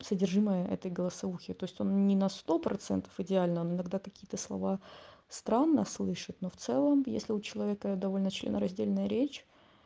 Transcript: содержимое этой голосовухи то есть он не на сто процентов идеально он иногда какие-то слова странно слышать но в целом если у человека я довольна членораздельная речь